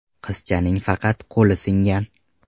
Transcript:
Qizchaning faqat qo‘li singan.